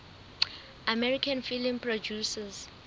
american film producers